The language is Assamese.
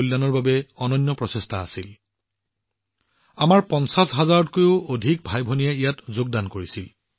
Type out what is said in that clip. বেঙুনীয়া উৎসৱ কিমান ডাঙৰ অনুষ্ঠান আছিল আপোনালোক সকলোৱে ইয়াৰ দ্বাৰা অনুমান কৰিব পাৰে যে আমাৰ ৫০হাজাৰতকৈও অধিক ভাইভনীয়ে ইয়াত অংশগ্ৰহণ কৰিছিল